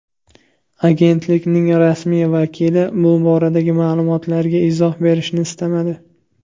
Agentlikning rasmiy vakili bu boradagi ma’lumotlarga izoh berishni istamadi.